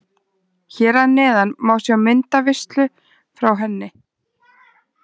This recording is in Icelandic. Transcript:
Hér að neðan má sjá myndaveislu frá henni.